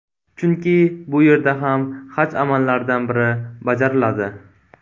Chunki bu yerda ham haj amallaridan biri bajariladi.